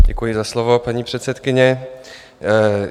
Děkuji za slovo, paní předsedkyně.